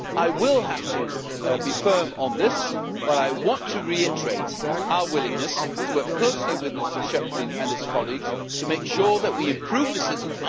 I will have to be firm on this, but I want to reiterate our willingness to work closely with Mr Schöpflin and his colleagues to make sure that we improve the system.